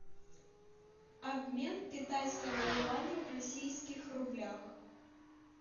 обмен китайского юаня в российских рублях